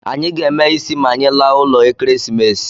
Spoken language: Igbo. Anyị ga-eme ịsị ma anyị laa ụlọ Ekeresimese